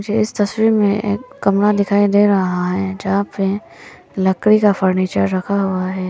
इस तस्वीर में कमरा भी दिखाई दे रहा है जहां पे एक लकड़ी का फर्नीचर भी रखा हुआ है।